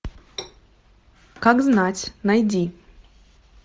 как знать найди